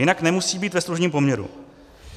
Jinak nemusí být ve služebním poměru.